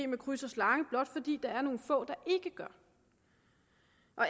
med kryds og slange blot fordi der er nogle få der ikke gør